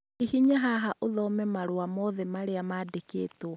Hihinya haha ũthome marũa mothe marĩa mandĩkĩtwo